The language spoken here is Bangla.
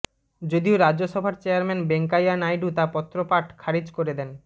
যদিও রাজ্যসভার চেয়ারম্যান বেঙ্কাইয়া নাইডু তা পত্রপাঠ খারিজ করে দেন